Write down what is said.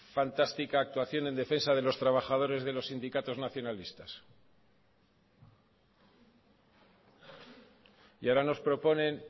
fantástica actuación en defensa de los trabajadores de los sindicatos nacionalistas y ahora nos proponen